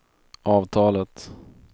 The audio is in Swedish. avtalet